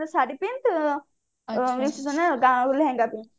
ଶାଢୀ ପିନ୍ଧନ୍ତୁ receptionରେ ଲେହେଙ୍ଗା ପିନ୍ଧନ୍ତୁ